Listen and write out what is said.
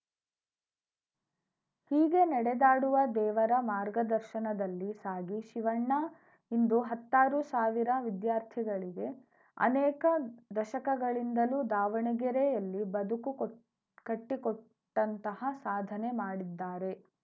ಹೀಗೆ ನಡೆದಾಡುವ ದೇವರ ಮಾರ್ಗದರ್ಶನದಲ್ಲಿ ಸಾಗಿ ಶಿವಣ್ಣ ಇಂದು ಹತ್ತಾರು ಸಾವಿರ ವಿದ್ಯಾರ್ಥಿಗಳಿಗೆ ಅನೇಕ ದಶಕಗಳಿಂದಲೂ ದಾವಣಗೆರೆಯಲ್ಲಿ ಬದುಕು ಕೊಟ್ ಕಟ್ಟಿಕೊಟ್ಟಂತಹ ಸಾಧನೆ ಮಾಡಿದ್ದಾರೆ